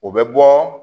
O bɛ bɔ